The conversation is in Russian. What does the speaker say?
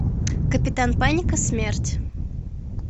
капитан паника смерть